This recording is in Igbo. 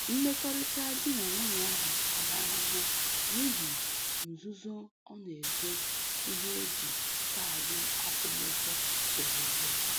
Mmekọrịta di na nwunye ahụ tara ahụhụ n'ihi nzuzo ọ na-ezo ihe o ji kaadị akwụmụgwọ wee zụọ.